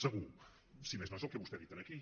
segur si més no és el que vostè ha dit aquí